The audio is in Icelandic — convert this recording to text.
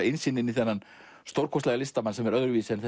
innsýn inn þennan stórkostlega listamann sem er öðruvísi en